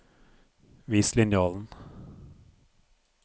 Vis linjalen